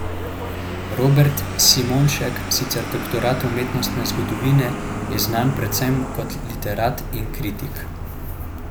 Robert Simonišek, sicer doktor umetnostne zgodovine, je znan predvsem kot literat in kritik.